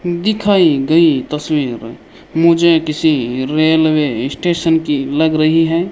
दिखाई गई तस्वीर में मुझे किसी रेलवे स्टेशन की लग रही है।